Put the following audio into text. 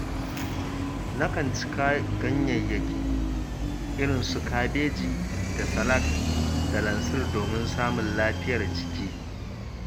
Nakan ci ganyayyaki irin su kabeji da salak da lansir domin samun lafiyar jiki.